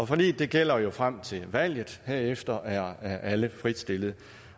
forliget gælder jo frem til valget herefter er alle fritstillet